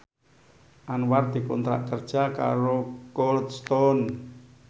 Anwar dikontrak kerja karo Cold Stone